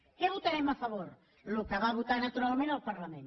què votarem a favor el que va votar naturalment el parlament